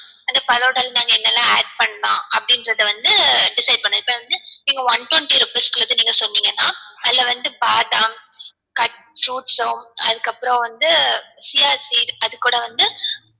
அந்த falooda ல நாங்க என்னலாம் add பண்ணலாம் அப்டின்றத வந்து decide பண்ணலாம் இப்போ வந்து நீங்க one twenty rupees க்கு சொன்னிங்கனா அதுல வந்துட்டுபாதாம் cut fruits அதுக்கு அப்புறம் வந்து அது கூட வந்து